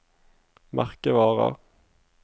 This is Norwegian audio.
merkevarer